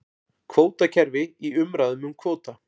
Kvótakerfi í umræðum um kvóta